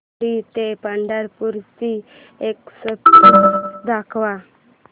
शिर्डी ते पंढरपूर ची एक्स्प्रेस दाखव